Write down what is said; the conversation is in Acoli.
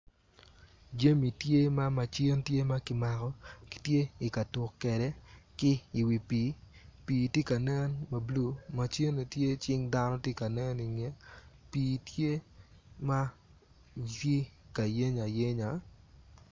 Jamo tye ma macin ma ki mako kitye ikatuk kede ki iwi pii, pii tye kanen ma blue, macine tye cing dano tye ka nen ingeye pii tye ma tye kayenyo ayenya